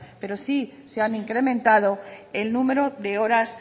pero sí se han incrementado el número de horas